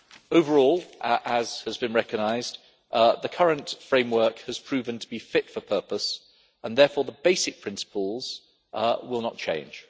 Overall, as has been recognised, the current framework has proven to be fit for purpose, and therefore the basic principles will not change.